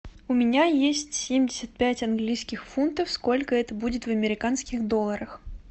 у меня есть семьдесят пять английских фунтов сколько это будет в американских долларах